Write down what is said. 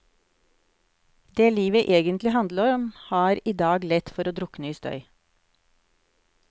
Det livet egentlig handler om, har i dag lett for å drukne i støy.